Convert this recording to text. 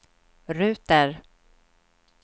ruter